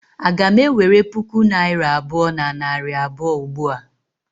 Aga m ewere puku naira abụọ na narị abụọ ugbua?